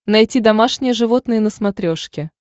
найти домашние животные на смотрешке